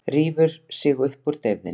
Rífur sig upp úr deyfðinni.